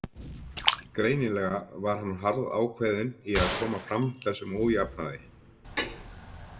Greinilega var hann harðákveðinn í að koma fram þessum ójafnaði.